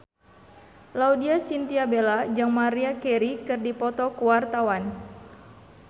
Laudya Chintya Bella jeung Maria Carey keur dipoto ku wartawan